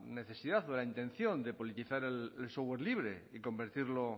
necesidad o de la intención de politizar el software libre y convertirlo